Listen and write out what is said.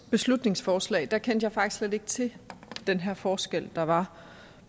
beslutningsforslag kendte jeg faktisk slet ikke til den her forskel der var